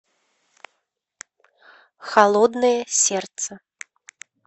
холодное сердце